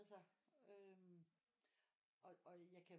Altså øh og jeg kan